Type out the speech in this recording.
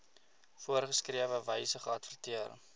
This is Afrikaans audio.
voorgeskrewe wyse geadverteer